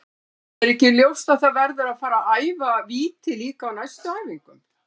Er ekki ljóst að það verður að fara að æfa víti líka á næstu æfingum?